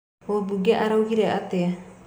Mũbunge araugire atĩa?